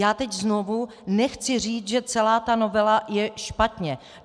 Já teď znovu nechci říct, že celá ta novela je špatně.